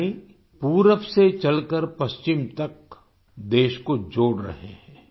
यानी पूरब से चलकर पश्चिम तक देश को जोड़ रहे हैं